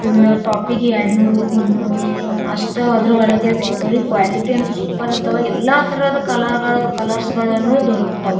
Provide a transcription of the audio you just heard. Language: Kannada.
ಒಂದು ಟೋಪಿಗೆ ಎರಡ್ ನೂರು ಮುನ್ನೂರು ಅಷ್ಟೇ ಅದ್ರ ಒಳಗಡೆ ಸಿಗ್ತಾವ್ ರೀ ಕ್ವಾಲಿಟಿ ಅಂತೂ ಸೂಪರ್ ಇರ್ತಾವ ಅಲ್ ಎಲ್ಲ ತರದ್ ಕಲರ್ ಕಲರ್ಸಗಳು ದೊರಗತಾವು .